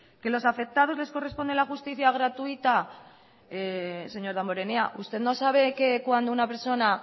que a los afectados les corresponde la justicia gratuita señor damborenea usted no sabe que cuando una persona